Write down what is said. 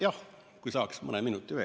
Jah, kui saaks mõne minuti veel.